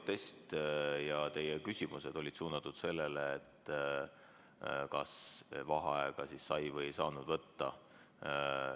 Teie protest ja teie küsimused olid suunatud sellele, kas vaheaega sai või ei saanud võtta.